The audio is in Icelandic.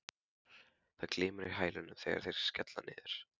Það glymur í hælunum þegar þeir skella niður.